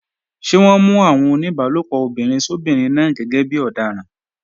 Ṣé wọ́n mú àwọn oníbálòpọ̀ obìnrin sóbinrin náà gẹ́gẹ́ bí ọ̀daràn?